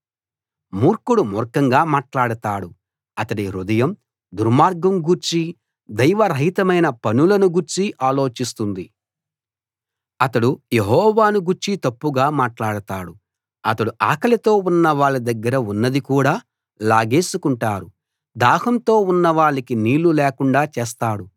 మూర్ఖుడు మూర్ఖంగా మాట్లాడతాడు అతడి హృదయం దుర్మార్గం గూర్చీ దైవరహితమైన పనులను గూర్చీ ఆలోచిస్తుంది అతడు యెహోవాను గూర్చి తప్పుగా మాట్లాడతాడు అతడు ఆకలితో ఉన్నవాళ్ళ దగ్గర ఉన్నది కూడా లాగేసుకుంటారు దాహంతో ఉన్నవాళ్ళకి నీళ్ళు లేకుండా చేస్తాడు